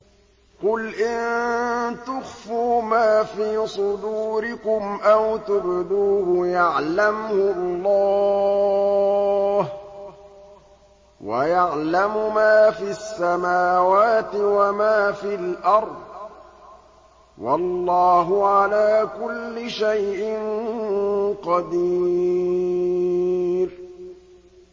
قُلْ إِن تُخْفُوا مَا فِي صُدُورِكُمْ أَوْ تُبْدُوهُ يَعْلَمْهُ اللَّهُ ۗ وَيَعْلَمُ مَا فِي السَّمَاوَاتِ وَمَا فِي الْأَرْضِ ۗ وَاللَّهُ عَلَىٰ كُلِّ شَيْءٍ قَدِيرٌ